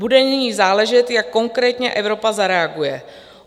Bude nyní záležet, jak konkrétně Evropa zareaguje.